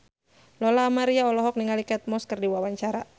Lola Amaria olohok ningali Kate Moss keur diwawancara